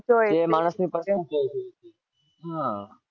એ માણસની હાં